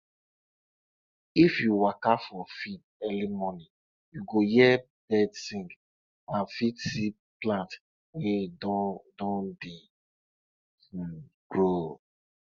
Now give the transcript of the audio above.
when you dey comot milk from cow body well they cow body go sweet am and em go trust de person